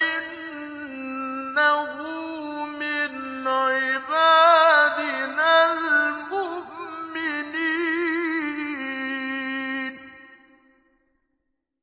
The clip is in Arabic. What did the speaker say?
إِنَّهُ مِنْ عِبَادِنَا الْمُؤْمِنِينَ